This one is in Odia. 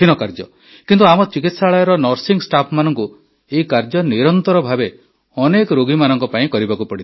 କିନ୍ତୁ ଆମ ଚିକିତ୍ସାଳୟର ନର୍ସିଂ ଷ୍ଟାଫ୍ମାନଙ୍କୁ ଏହି କାର୍ଯ୍ୟ ନିରନ୍ତର ଭାବେ ଅନେକ ରୋଗୀମାନଙ୍କ ପାଇଁ କରିବାକୁ ପଡ଼ିଥାଏ